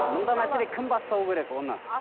мұндай мәселеде кім бастау керек оны